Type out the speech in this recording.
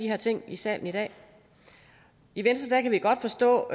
her ting i salen i dag i venstre kan vi godt forstå